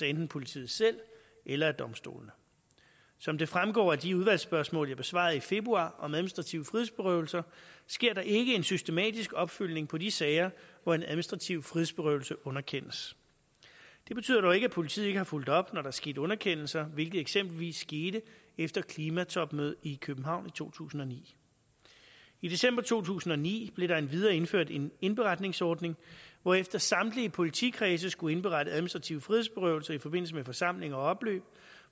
enten politiet selv eller af domstolene som det fremgår af de udvalgsspørgsmål jeg besvarede i februar om administrative frihedsberøvelser sker der ikke en systematisk opfølgning på de sager hvor en administrativ frihedsberøvelse underkendes det betyder dog ikke at politiet ikke har fulgt op når der er sket underkendelser hvilket eksempelvis skete efter klimatopmødet i københavn i to tusind og ni i december to tusind og ni blev der endvidere indført en indberetningsordning hvorefter samtlige politikredse skulle indberette administrativ frihedsberøvelse i forbindelse med forsamlinger og opløb